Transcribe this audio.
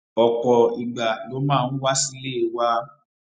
òpò ìgbà ló máa ń wá sílé wa